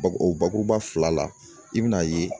Bakuru o bakuruba fila la, i bɛn'a ye